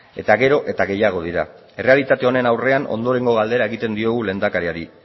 eta gero eta gehiago dira errealitate honen aurrean ondorengo galdera egiten diogu lehendakariari